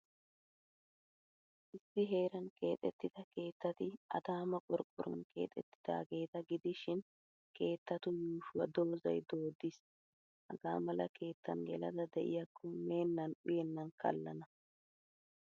Issi heeran keexettida keettati Adaamaa qorqqoruwan keexeettidaageeta gidishin, keettatu yuushuwaa dozay dooddiis. Hagaa mala keettan gelada de'iyaakko meennan uyennan kallana.